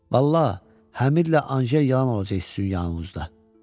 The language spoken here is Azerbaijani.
Vallahi, Həmidlə Anjel yalan olacaq sizin yanınızda.